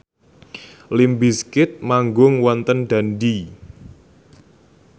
limp bizkit manggung wonten Dundee